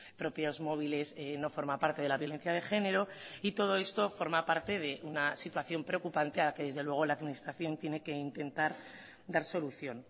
propios móviles no forma parte de la violencia de género y todo esto forma parte de una situación preocupante a que desde luego la administración tiene que intentar dar solución